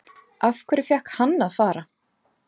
Af hverju fékk hann að fara?